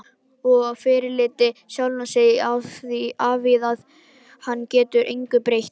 Og fyrirlíti sjálfan sig afþvíað hann getur engu breytt.